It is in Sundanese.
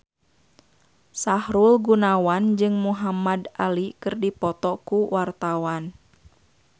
Sahrul Gunawan jeung Muhamad Ali keur dipoto ku wartawan